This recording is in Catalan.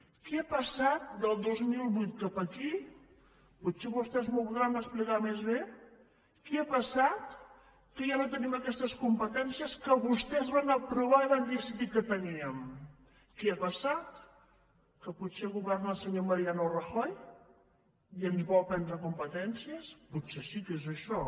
què ha passat del dos mil vuit cap aquí potser vostès m’ho podran explicar més bé que ja no tenim aquestes competències que vostès van aprovar i van decidir que teníem què ha passat que potser governa el senyor mariano rajoy i ens vol prendre competències potser sí que és això